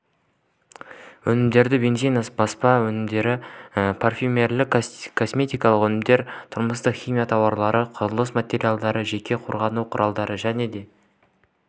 өнімдері бензин баспа өнімдері парфюмерлік-косметикалық өнімдер тұрмыстық химия тауарлары құрылыс материалдары жеке қорғану құралдары және